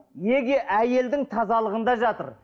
неге әйелдің тазалығында жатыр